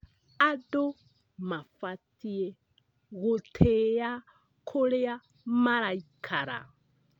Andũ mabatiĩ gũtĩa kũrĩa maraikara.